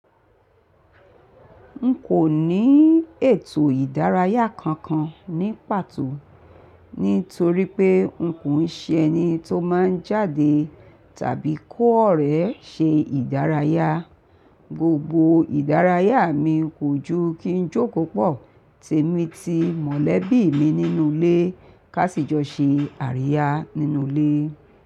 N kò ní ètò ìdárayá kankan ní pàtó, nítorí pé n kò ń ṣe ẹni tó máa ń jáde tàbí kó ọ̀rẹ́ ṣe ìdárayá. Gbogbo ìdárayá mi kò ju kí n jókòó pọ̀, tèmí ti mọ̀lẹ́bí mi nínú ilé ká sì jọ ṣe àríyá nínú ilé.